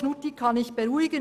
Knutti kann ich beruhigen.